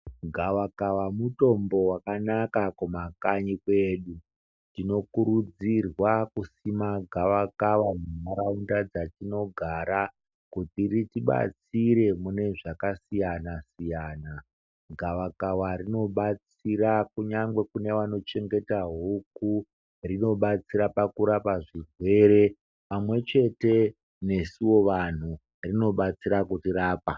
Gavakava mutombo wakanaka kumakanyi kwedu tinokurudzirwa kusima gavakava munharaunda dzatinogara kuti ritibatsire mune zvakasiyana siyana. Gavakava rinobatsita kunyangwe kune vanochengeta huku rinobatsira pakurapa zvirwere pamwechete nesuwo vantu rinobatsira kutirapa .